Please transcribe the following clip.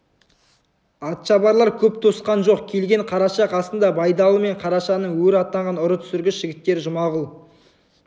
атшабарлар көп тосқан жоқ келген қараша қасында байдалы мен қарашаның өр атанған ұры түсіргіш жігіттері жұмағұл